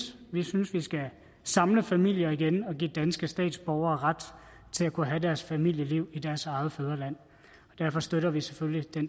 vi synes vi skal samle familier igen og give danske statsborgere ret til at kunne have deres familieliv i deres eget fædreland derfor støtter vi selvfølgelig